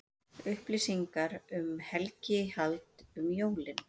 Upplýsingar um helgihald um jólin